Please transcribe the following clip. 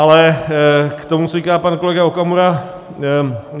Ale k tomu, co říká pan kolega Okamura.